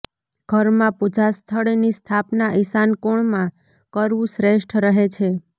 ઘર મા પૂજાસ્થળ ની સ્થાપના ઈશાન કોણમાં કરવું શ્રેષ્ઠ રહે છે